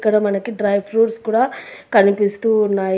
ఇక్కడ మనకి dry fruits కూడా కనిపిస్తూ ఉన్నాయి.